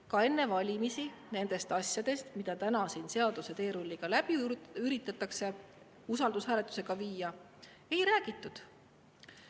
Ja enne valimisi nendest asjadest, mida täna siin üritatakse seaduseteerulliga ehk usaldushääletusega läbi viia, ei räägitud.